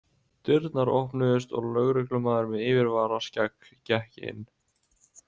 Dyrnar opnuðust og lögreglumaður með yfirvaraskegg gekk inn.